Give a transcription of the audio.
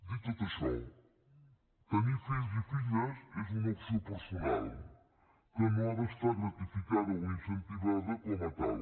dit tot això tenir fills i filles és una opció personal que no ha d’estar gratificada o incentivada com a tal